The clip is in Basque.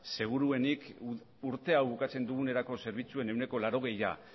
seguruenik urte hau bukatzen dugunerako zerbitzuen ehuneko laurogeia